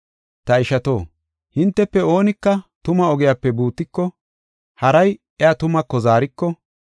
Ta ishato, hintefe oonika tuma ogiyape buutiko, haray iya tumaako zaariko,